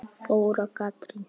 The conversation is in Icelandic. Þóra Katrín.